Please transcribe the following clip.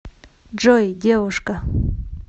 джой девушка